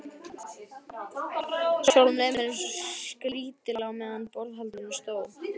Sjálfum leið mér skrýtilega meðan á borðhaldinu stóð.